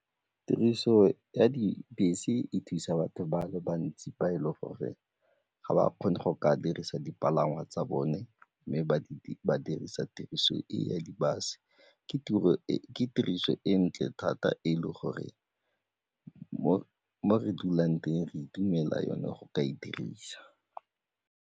Tiriso ya dibese e thusa batho ba le bantsi ba e le gore ga ba kgone go ka dirisa dipalangwa tsa bone mme ba dirisa tiriso e ya di-bus. Ke tiriso e ntle thata e le gore mo re dulang teng re itumelela yone go ka e dirisa.